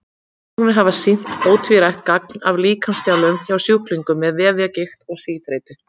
Rannsóknir hafa sýnt ótvírætt gagn af líkamsþjálfun hjá sjúklingum með vefjagigt eða síþreytu.